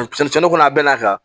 Cɛnni kɔnɔ a bɛɛ n'a ka kan